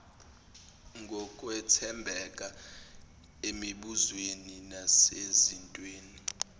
ngokwethembeka emibuzweni nasezintweni